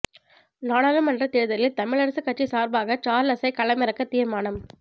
நாடாளுமன்றத் தேர்தலில் தமிழரசுக் கட்சி சார்பாக சார்ள்ஸை களமிறக்கத் தீர்மானம்